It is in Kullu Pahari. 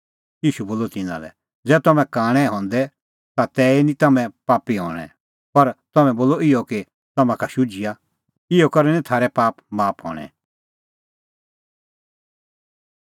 ईशू बोलअ तिन्नां लै ज़ै तम्हैं कांणै हंदै ता तै नांईं तै तम्हैं पापी हणैं पर तम्हैं बोला इहअ कि तम्हां का शुझिआ इहअ करै निं थारै पाप माफ हणैं